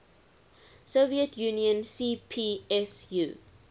soviet union cpsu